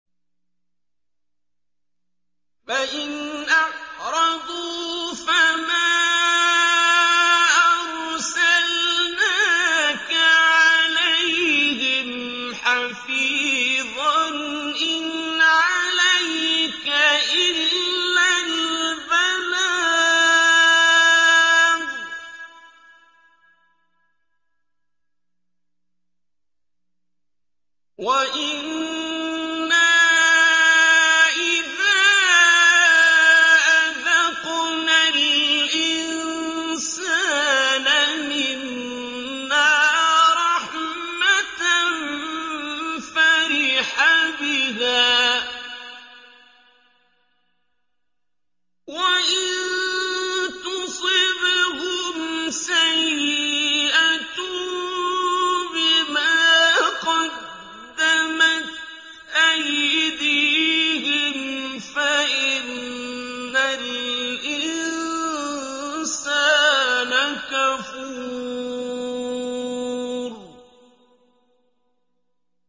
فَإِنْ أَعْرَضُوا فَمَا أَرْسَلْنَاكَ عَلَيْهِمْ حَفِيظًا ۖ إِنْ عَلَيْكَ إِلَّا الْبَلَاغُ ۗ وَإِنَّا إِذَا أَذَقْنَا الْإِنسَانَ مِنَّا رَحْمَةً فَرِحَ بِهَا ۖ وَإِن تُصِبْهُمْ سَيِّئَةٌ بِمَا قَدَّمَتْ أَيْدِيهِمْ فَإِنَّ الْإِنسَانَ كَفُورٌ